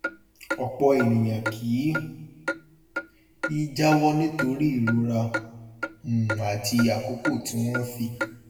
ọpọ ènìyàn kì í jáwọ nítorí ìrora um àti àkókò tí wọn fi